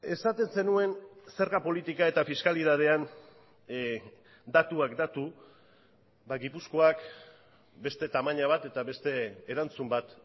esaten zenuen zerga politika eta fiskalitatean datuak datu gipuzkoak beste tamaina bat eta beste erantzun bat